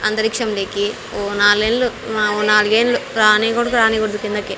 అంతరిక్షంలేకి ఓ నాల్ నెల్లు ఓ నాలుగేండ్లు రానీకూడదు రానీకూడదు కిందకి.